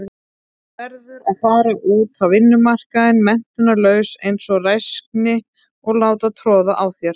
Verður að fara út á vinnumarkaðinn menntunarlaus einsog ræksni og láta troða á þér.